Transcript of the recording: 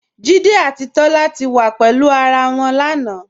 Jídé àti Tólá ti wá pẹ̀lú ará wọn lánà.